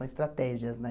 São estratégias, né?